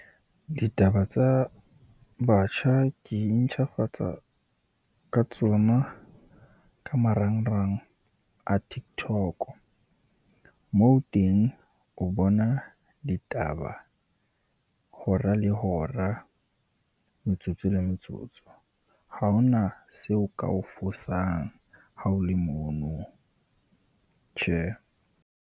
Ditaba tsa batjha ke intjhafatsa ka tsona ka marangrang a Tiktok, moo teng o bona ditaba hora le hora, metsotso le metsotso. Ha ho na seo ka o fosang ha o le mono, tjhe.